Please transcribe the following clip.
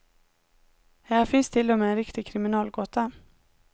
Här finns till och med en riktig kriminalgåta.